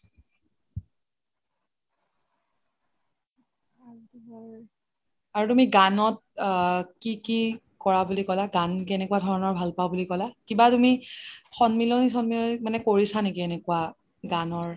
আৰু তুমি গানত আকি কি কৰা বুলি কলা গান কেনেকুৱা ধৰণৰ ভাল পাওঁ বুলি কলা কিবা তুমি সন্মিলনী চন্মিলনী মানে কৰিছা নেকি এনেকুৱা গানৰ